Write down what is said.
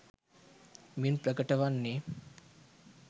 මින් ප්‍රකට වන්නේ,